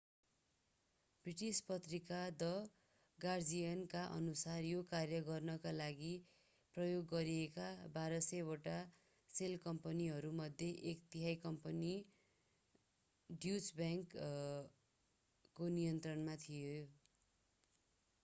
British पत्रिका the गार्जियनका अनुसार यो कार्य गर्नका लागि प्रयोग गरिएका 1200 वटा सेल कम्पनीहरूमध्ये एक तिहाइ कम्पनीहरू ड्युच बैंकको नियन्त्रणमा थिए